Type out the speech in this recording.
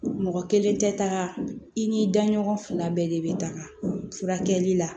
Mɔgɔ kelen tɛ taa i ni da ɲɔgɔn fila bɛɛ de bɛ taga furakɛli la